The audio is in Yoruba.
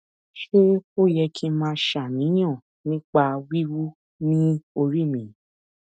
ṣé ó yẹ kí n máa ṣàníyàn nípa wiwu ni ori mi